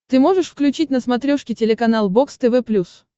ты можешь включить на смотрешке телеканал бокс тв плюс